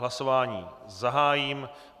Hlasování zahájím.